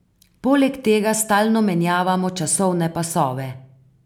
Poleg tega stalno menjavamo časovne pasove.